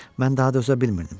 Mən daha dözə bilmirdim.